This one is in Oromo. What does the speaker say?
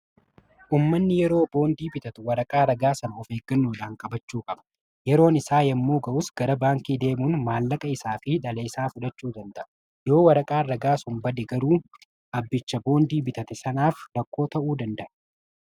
ummanni yeroo boondii bitatu waraqaa ragaa sana of eeggannoodhaan qabachuu qaba. yeroon isaa yommuu ga'us gara baankii deemuun maallaqa isaa fi dhala isaa fudachuu danda'a. yoo waraqaa ragaa sun bade garuu abbicha boondii bitate sanaaf rakkoo ta'uu danda'a.